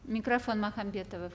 микрофон махамбетова